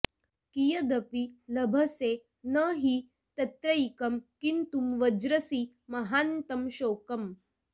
कियदपि लभसे न हि तत्रैकं किन्तु व्रजसि महान्तं शोकम्